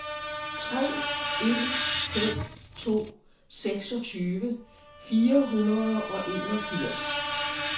tre en fem to seksogtyve fire hundrede og enogfirs